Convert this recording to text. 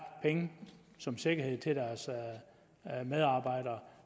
penge som sikkerhed til deres medarbejdere